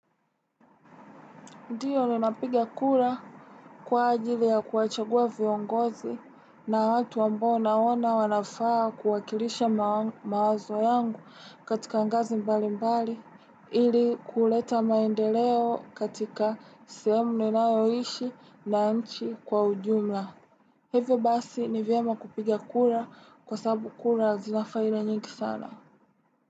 Ndio ninapiga kura kwa ajili ya kuwachagua viongozi na watu ambao nawaona wanafaa kuwakilisha mawazo yangu katika angazi mbali mbali ili kuleta maendeleo katika sehemu ninayoishi na nchi kwa ujumla. Hivyo basi ni vyema kupiga kura kwa sababu kura zina faida nyingi sana.